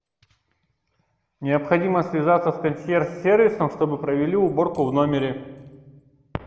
необходимо связаться с консьерж сервисом чтобы провели уборку в номере